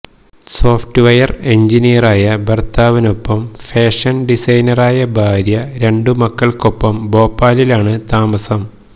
software എഞ്ചിനീയറായ ഭര്ത്താവിനൊപ്പം fashion ഡിസൈനറായ ഭാര്യ രണ്ടുമക്കള്ക്കൊപ്പം ഭോപ്പാലിലാണ് താമസം